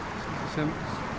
sem